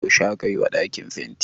yaushe aka yi wa dakin fenti?